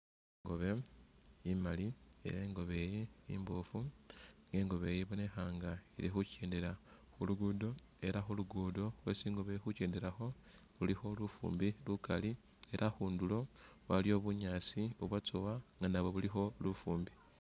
Ingobe imaali ela ingobe iyi imboofu, ingobe iyi ibonekha nga ili khu kyendela khu lugudo ela khu lugudo khwesi ingobe ili khu kyendelakho khulikho lufumbi lukaali ela akhundulo waliyo bunyaasi bubwatsowa nga nabwo bulikho lufumbi